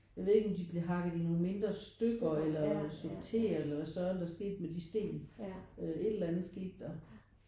Jeg ved ikke om de blev hakket i nogle mindre stykker eller sorteret eller så er der sket med de sten et eller andet skete der